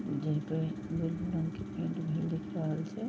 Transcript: जेही पर रंग के पेंट भइल दिख रहल छे।